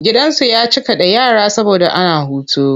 Gidan zu ya cika da yara saboda ana hutu.